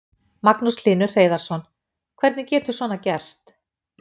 Magnús Hlynur Hreiðarsson: Hvernig getur svona gerst?